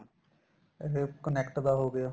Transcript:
ਇਹ connect ਦਾ ਹੋ ਗਿਆ